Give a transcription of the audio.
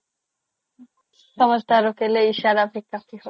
samajhadar ke লিয়ে ইচাৰা কাফি হাই